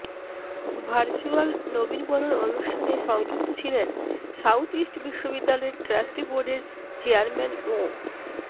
virtual নবীনবরণ অনুষ্ঠানে সংযুক্ত ছিলেন সাউথইস্ট বিশ্ববিদ্যালয়ের ট্রাস্টি বোর্ডের চেয়ারম্যান মো